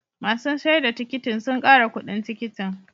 Masun sayar da tikitin sun kara kudin tikitin.